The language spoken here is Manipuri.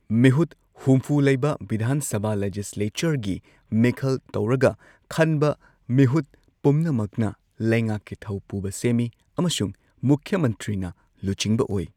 ꯃꯤꯍꯨꯠ ꯍꯨꯝꯐꯨ ꯂꯩꯕ ꯚꯤꯙꯥꯟ ꯁꯚꯥ ꯂꯦꯖꯤꯁꯂꯦꯆꯔꯒꯤ ꯃꯤꯈꯜ ꯇꯧꯔꯒ ꯈꯟꯕ ꯃꯤꯍꯨꯠ ꯄꯨꯝꯅꯃꯛꯅ ꯂꯩꯉꯥꯛꯀꯤ ꯊꯧ ꯄꯨꯕ ꯁꯦꯝꯃꯤ ꯑꯃꯁꯨꯡ ꯃꯨꯈ꯭ꯌ ꯃꯟꯇ꯭ꯔꯤꯅ ꯂꯨꯆꯤꯡꯕ ꯑꯣꯏ꯫